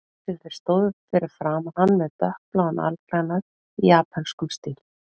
Þar til þeir stóðu fyrir framan hann með dökkbláan alklæðnað í japönskum stíl.